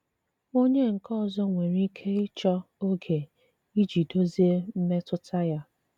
Ònye nkè ọzọ nwèrè ike ịchọ ógè iji dozie mmetụta ya.